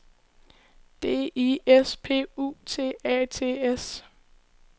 D I S P U T A T S